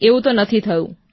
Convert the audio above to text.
આવું તો નથી થયું